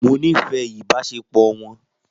Mo nífẹ̀ẹ́ ìbáṣepọ̀ wọn